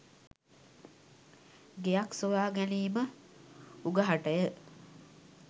ගෙයක් සොයාගැනීම උගහටය